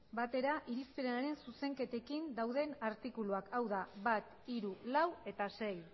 batera irizpenaren zuzenketekin dauden artikuluak hau da bat hiru lau eta sei